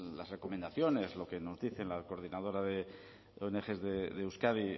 las recomendaciones lo que nos dice la coordinadora de ong de euskadi